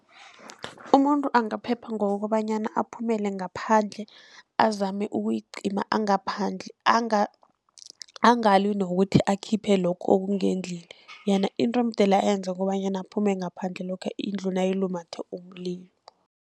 Umuntu angaphepha ngokobanyana aphumele ngaphandle azame ukuyicima angaphandle, angalwi nokuthi akhiphe lokho okungendlini. Yena into emdele ayenze kukobanyana aphume ngaphandle lokha indlu nayilumethe umlilo.